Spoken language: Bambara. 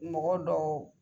Mɔgɔ dɔw